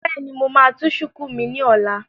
Bẹ́ẹ̀ni, mo máa tú shùkú mi ní ọ̀la